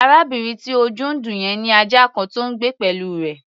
Arábìnrin tí ojú ń dùn yẹn ní ajá kan tó ń gbé pẹ̀lú rẹ̀.